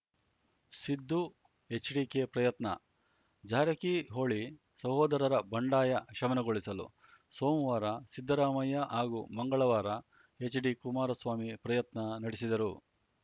ಸಿದ್ದು ಎಚ್‌ಡಿಕೆ ಪ್ರಯತ್ನ ಜಾರಕಿಹೊಳಿ ಸಹೋದರರ ಬಂಡಾಯ ಶಮನಗೊಳಿಸಲು ಸೋಮವಾರ ಸಿದ್ದರಾಮಯ್ಯ ಹಾಗೂ ಮಂಗಳವಾರ ಎಚ್‌ಡಿ ಕುಮಾರಸ್ವಾಮಿ ಪ್ರಯತ್ನ ನಡೆಸಿದರು